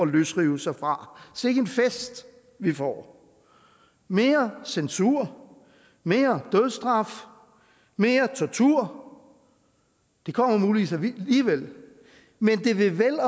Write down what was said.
løsrive sig fra sikke en fest vi får mere censur mere dødsstraf mere tortur det kommer muligvis alligevel men det vil vel